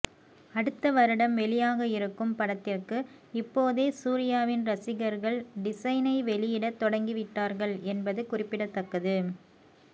அடுத்த வருடம் வெளியாக இருக்கும் படத்திற்கு இப்போதே சூர்யாவின் ரசிகர்கள் டிசைனை வெளியிடத் தொடங்கி விட்டார்கள் என்பது குறிப்பிடத்தக்கது